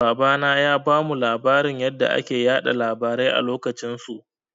Babana ya bamu labarin yanda ake yaɗa labarai a lokacin su.